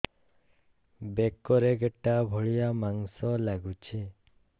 ବେକରେ ଗେଟା ଭଳିଆ ମାଂସ ଲାଗୁଚି